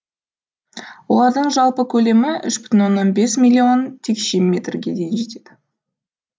олардың жалпы көлемі үш бүтін оннан бес миллион текше метрге дейін жетеді